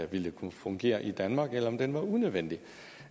ville kunne fungere i danmark eller om den er unødvendig